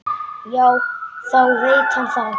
Þá veit hann það!